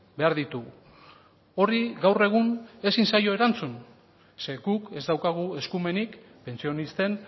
behar ditugu horri gaur egun ezin zaio erantzun ze guk ez daukagu eskumenik pentsionisten